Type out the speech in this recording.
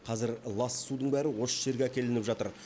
қазір лас судың бәрі осы жерге әкелініп жатыр